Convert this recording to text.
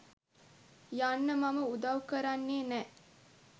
යන්න මම උදව් කරන්නේ නෑ.